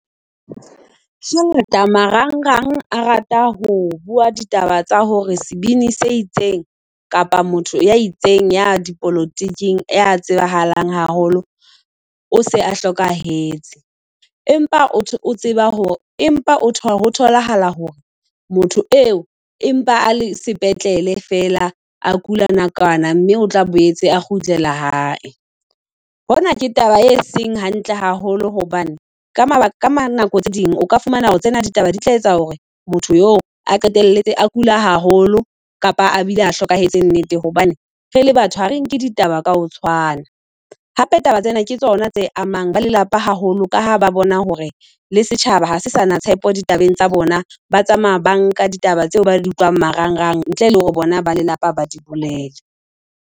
Hangata marang rang a rata ho bua ditaba tsa hore sebini se itseng kapa motho ya itseng ya dipolotiking ya tsebahalang haholo, o se a hlokahetse. Empa empa ho tholahala hore motho eo empa a le sepetlele fela, a kula nakwana mme otla boetse a kgutlela hae. Hona ke taba e seng hantle haholo hobane ka mabaka ka nako tse ding o ka fumana hore tsena ditaba di tla etsa hore motho yeo a qetelletse a kula haholo, kapa a bile a hlokahetse nnete. Jobane re le batho ha re nke ditaba ka ho tshwana Hape taba tsena ke tsona tse amang ba lelapa haholo ka ha ba bona hore le setjhaba ha sana tshepo ditabeng tsa bona, ba tsamaya banka ditaba tseo ba di utlwang marangrang ntle le hore bona ba lelapa ba di bolele.